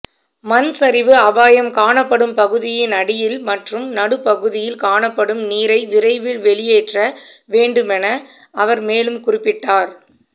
மண்சரிவு அபாயம் காணப்படும் பகுதியின் அடியில் மற்றும் நடுப்பகுதியில் காணப்படும் நீரை விரைவில் வெளியேற்ற வேண்டுமென அவர் மேலும் குறிப்பிட்டார்